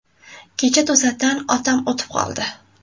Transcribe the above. Kecha to‘satdan otam o‘tib qoldi.